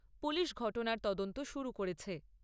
Police ঘটনার তদন্ত শুরু করেছে।